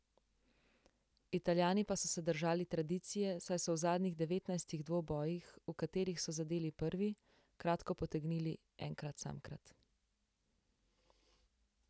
Italijani pa so se držali tradicije, saj so v zadnjih devetnajstih dvobojih, v katerih so zadeli prvi, kratko potegnili enkrat samkrat.